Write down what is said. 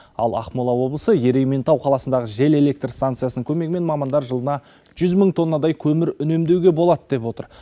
ал ақмола облысы ерейментау қаласындағы жел электр станциясының көмегімен мамандар жылына жүз мың тоннадай көмір үнемдеуге болады деп отыр